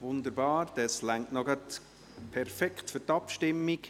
Wunderbar, es reicht gerade noch perfekt für die Abstimmung.